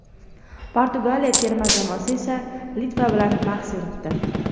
Portugaliya terma jamoasi esa Litva bilan bahs yuritdi.